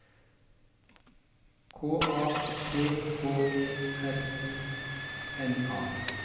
K A T H E R I N A